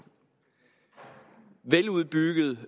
veludbygget